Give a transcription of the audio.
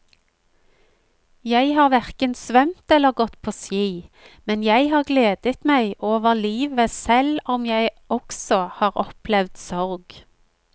Jeg har hverken svømt eller gått på ski, men jeg har gledet meg over livet selv om jeg også har opplevd sorg.